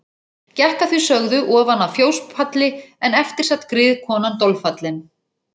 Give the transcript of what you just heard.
Gekk að því sögðu ofan af fjóspalli en eftir sat griðkonan dolfallin.